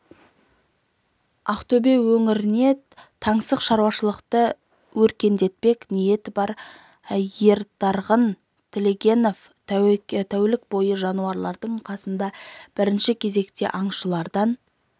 ақтөбе өңіріне таңсық шаруашылықты өркендетпек ниеті бар ертарғын тілегенов тәулік бойы жануарлардың қасында бірінші кезекте аңшылардан